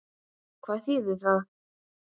Hvað þýðir ekki?